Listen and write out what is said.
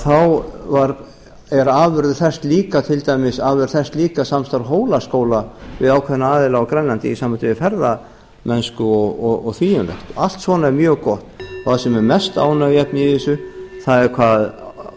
þá er afurð þess líka samstarf hólaskóla við ákveðna aðila á grænlandi í sambandi við ferðamennsku og því um líkt allt svona er mjög gott það sem er mest ánægjuefni í þessu er hvað